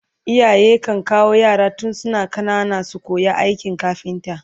iyaye kan kawo yara tun suna ƙanana su koya aikin kafinta